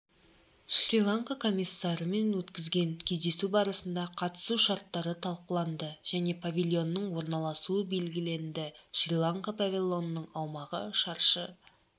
шри-ланка комиссарымен өткен кездесу барысында қатысу шарттары талқыланды және павильонның орналасуы белгіленді шри-ланка павильонының аумағы шаршы